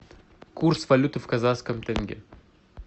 курс валюты в казахском тенге